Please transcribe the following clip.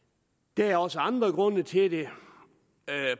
der er også andre grunde til det